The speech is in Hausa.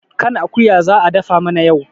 kan akuya za a dafa mana yau